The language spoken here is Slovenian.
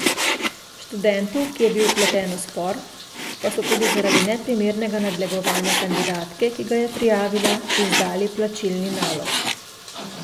Študentu, ki je bil vpleten v spor, pa so tudi zaradi neprimernega nadlegovanja kandidatke, ki ga je prijavila, izdali plačilni nalog.